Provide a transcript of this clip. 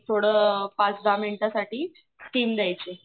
थोडं पाच दहा मिनिटं साठी स्टीम द्यायची